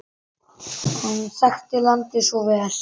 Hann þekkti landið svo vel.